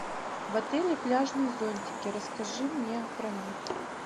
в отеле пляжные зонтики расскажи мне про них